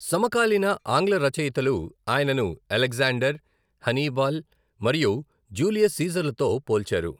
సమకాలీన ఆంగ్ల రచయితలు అయనను అలెగ్జాండర్, హనీబల్ మరియు జూలియస్ సీజర్లతో పోల్చారు.